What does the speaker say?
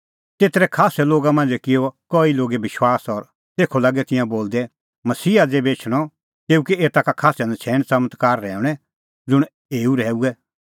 तेतरै खास्सै लोगा मांझ़ै किअ कई लोगै विश्वास और तेखअ लागै तिंयां बोलदै मसीहा ज़ेभै एछणअ तेऊ कै एता का खास्सै नछ़ैण च़मत्कार रहैऊंणै ज़ुंण एऊ रहैऊऐ